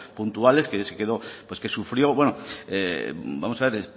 puntuales que sufrió vamos a ver